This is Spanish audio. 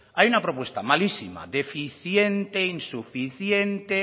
hay una propuesta malísima deficiente insuficiente